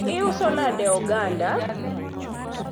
iuso nade oganda?